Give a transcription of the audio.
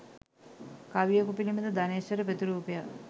කවියකු පිළිබඳ ධනේෂ්වර ප්‍රතිරූපයක්